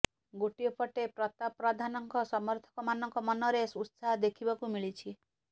ଗୋଟିଏ ପଟେ ପ୍ରତାପ ପ୍ରଧାନଙ୍କ ସମର୍ଥକ ମାନଙ୍କ ମନରେ ଉତ୍ସାହ ଦେଖିବାକୁ ମିଳିଛି